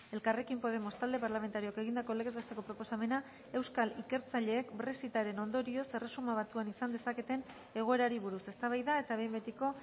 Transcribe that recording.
elkarrekin podemos talde parlamentarioak egindako legez besteko proposamena euskal ikertzaileek brexitaren ondorioz erresuma batuan izan dezaketen egoerari buruz eztabaida eta behin betiko